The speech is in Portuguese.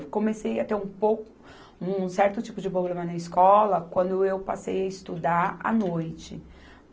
Eu comecei a ter um pouco, um certo tipo de problema na escola quando eu passei a estudar à noite.